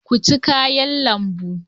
Ku ci kayan lambu.